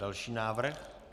Další návrh.